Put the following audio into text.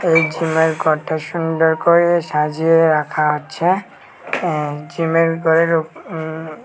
এই জিমের ঘরটা সুন্দর করে সাজিয়ে রাখা আছে এ জিমের ঘরের উপ উম--